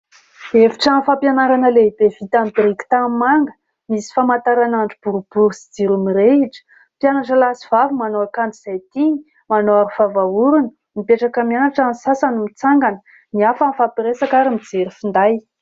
Efitrano fampianarana lehibe vita amin'ny biriky tanimanga, misy famantaranandro boribory sy jiro mirehitra. Mpianatra lahy sy vavy manao akanjo izay tiany, manao aro vava orona mipetraka mianatra, ny sasany mitsangana, ny hafa mifampiresaka ary mijery finday.